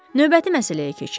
Növbəti məsələyə keçək.